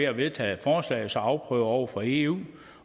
at vedtage forslaget og så afprøve det over for eu